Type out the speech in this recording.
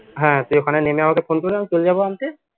হ্যা তুই ওখানে নেমে আমাকে phone করলে আমি চলে যাবো আনতে